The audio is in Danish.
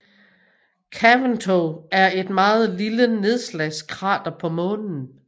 Caventou er et meget lille nedslagskrater på Månen